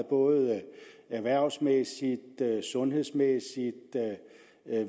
både erhvervsmæssigt sundhedsmæssigt